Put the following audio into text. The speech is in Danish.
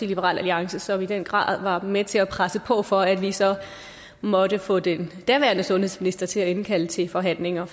liberal alliance som i den grad var med til at presse på for at vi så måtte få den daværende sundhedsminister til at indkalde til forhandlinger